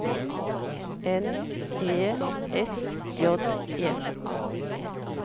N E S J E